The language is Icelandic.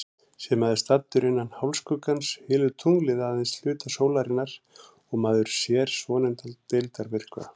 Sé maður staddur innan hálfskuggans, hylur tunglið aðeins hluta sólarinnar og maður sér svonefndan deildarmyrkva.